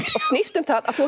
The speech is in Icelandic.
og snýst um það að þú